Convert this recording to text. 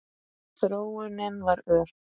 Þróunin var ör.